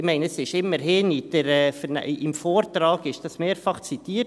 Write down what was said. Ich meine, es wird immerhin im Vortrag mehrfach zitiert.